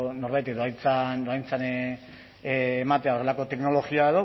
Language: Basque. norbaitek dohaintzan ematea horrelako teknologia